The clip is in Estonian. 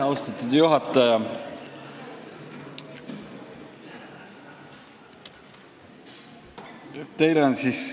Austatud juhataja!